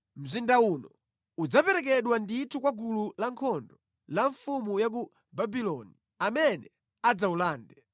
Mzinda uno udzaperekedwa ndithu kwa gulu lankhondo la mfumu ya ku Babuloni, amene adzawulande.’ ”